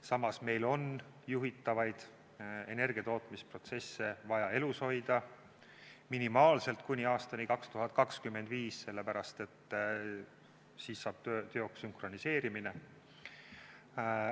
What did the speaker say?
Samas, meil on juhitavaid energiatootmisprotsesse vaja elus hoida minimaalselt kuni aastani 2025, sest siis saab teoks sünkroniseerimine.